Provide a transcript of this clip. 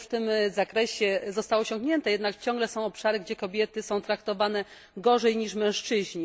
Wiele już w tym zakresie zostało osiągnięte, jednak ciągle są obszary, gdzie kobiety są traktowane gorzej niż mężczyźni.